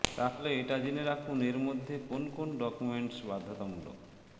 তাহলে এটা জেনে রাখুন এর জন্য কোন কোন ডকুমেন্টস বাধ্যতামূলক